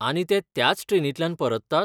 आनी ते त्याच ट्रेनींतल्यान परततात?